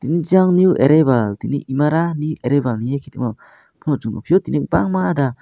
jang new arebal tini emara ni arebani areke tangmo pono songbo piyo bangma da.